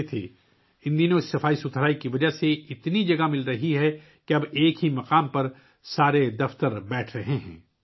ان دنوں اس صفائی کی وجہ سے اتنی جگہ دستیاب ہے کہ اب تمام دفاتر ایک ہی جگہ پر موجود ہیں